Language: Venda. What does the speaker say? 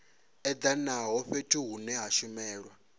edanaho fhethu hune ha shumelwa